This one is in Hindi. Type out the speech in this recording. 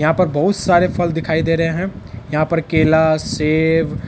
यहाँ पर बहुत सारे फल दिखाई दे रहे हैं यहाँ पर केला सेब